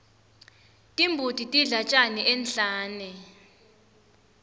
timbuti tidla tjani enhlane